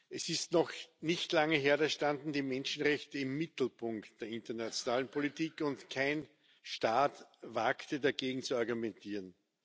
Es ist noch nicht lange her, da standen die Menschenrechte im Mittelpunkt der internationalen Politik, und kein Staat wagte, dagegen zu argumentieren.